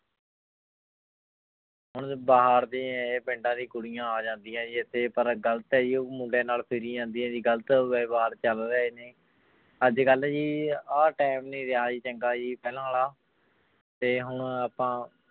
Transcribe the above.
ਹੁਣ ਬਾਹਰ ਦੇ ਹੈ ਪਿੰਡਾਂ ਦੀਆਂ ਕੁੜੀਆਂ ਆ ਜਾਂਦੀਆਂ ਜੀ ਇੱਥੇ ਪਰ ਗ਼ਲਤ ਹੈ ਜੀ ਉਹ ਮੁੰਡੇ ਨਾਲ ਫਿਰੀ ਜਾਂਦੀਆਂ ਜੀ ਗ਼ਲਤ ਵਿਵਹਾਰ ਚੱਲ ਰਹੇ ਨੇ, ਅੱਜ ਕੱਲ੍ਹ ਜੀ ਆਹ time ਨੀ ਰਿਹਾ ਚੰਗਾ ਜੀ ਪਹਿਲਾਂ ਵਾਲਾ ਤੇ ਹੁਣ ਆਪਾਂ